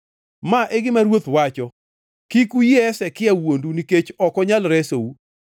Ma e gima ruoth wacho: Kik uyie Hezekia wuondu nikech ok onyal resou!